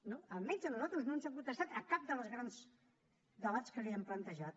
no almenys a nosaltres no ens ha contestat a cap dels grans debats que li hem plantejat